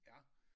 Ja